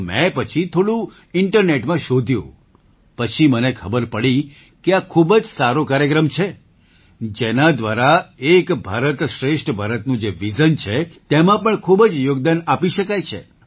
તો મેં પછી થોડું ઇન્ટરનેટમાં શોધ્યું પછી મને ખબર પડી કે આ ખૂબ જ સારો કાર્યક્રમ છે જેના દ્વારા એક ભારત શ્રેષ્ઠ ભારતનું જે વિઝન છે તેમાં પણ ખૂબ જ યોગદાન આપી શકાય છે